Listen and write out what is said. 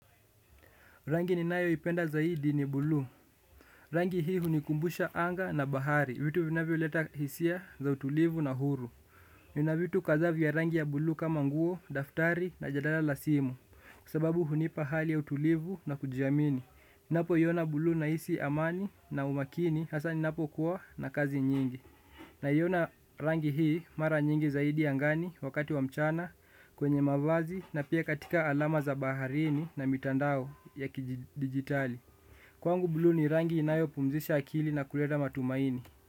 Rangi ninayo ipenda zaidi ni bulu. Rangi hii hunikumbusha anga na bahari. Vitu vinavyo leta hisia za utulivu na huru. Nina vitu kadha vya rangi ya bulu kama nguo, daftari na jadala la simu. Kwa sababu hunipa hali ya utulivu na kujiamini. Napoiona bulu nahisi amani na umakini hasa ninapo kuwa na kazi nyingi. Naiona rangi hii mara nyingi zaidi angani wakati wa mchana kwenye mavazi na pia katika alama za baharini na mitandao ya kidigitali. Kwangu blu ni rangi inayopumzisha akili na kuleta matumaini.